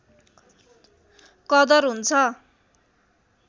कदर हुन्छ